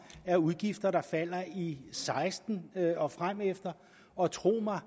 er udgifter der falder i seksten og fremefter og tro mig